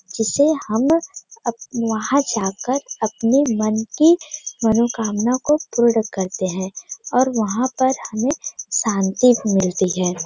जिसे हम अप वहाँ जाकर अपने मन की मनोकामना को पूर्ण करते है और वहाँ पर हमें शान्ति मिलती है।